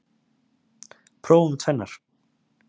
Prófum tvennar.